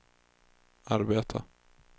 arbeta